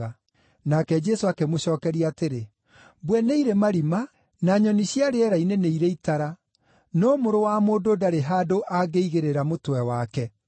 Nake Jesũ akĩmũcookeria atĩrĩ, “Mbwe nĩ irĩ marima, na nyoni cia rĩera-inĩ nĩ irĩ itara, no Mũrũ wa Mũndũ ndarĩ handũ angĩigĩrĩra mũtwe wake.”